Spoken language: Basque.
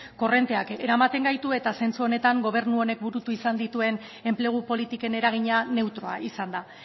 korronteak eramaten gaitu eta zentzu honetan gobernu honek burutu izan dituen enplegu politiken eragina neutroa izan da